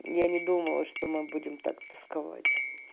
я не думала что мы будем так тосковать